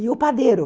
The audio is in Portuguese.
E o padeiro?